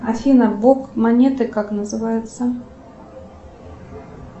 афина бок монеты как называется